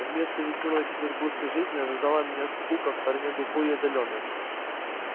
вместо весёлой петербургской жизни ожидала меня скука в стороне глухой и отдалённой